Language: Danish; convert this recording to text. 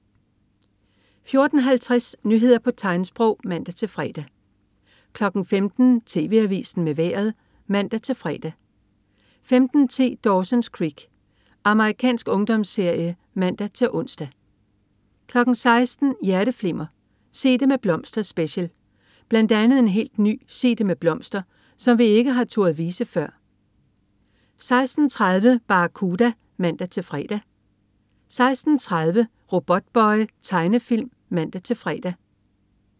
14.50 Nyheder på tegnsprog (man-fre) 15.00 TV Avisen med Vejret (man-fre) 15.10 Dawson's Creek. Amerikansk ungdomsserie (man-ons) 16.00 Hjerteflimmer: Sig Det Med Blomster Special. Bl.a. en helt ny "Sig Det Med Blomster", som vi ikke har turdet vise før 16.30 Barracuda (man-fre) 16.30 Robotboy. Tegnefilm (man-fre)